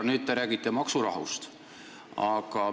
Nüüd te räägite maksurahust.